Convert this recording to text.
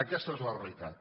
aquesta és la realitat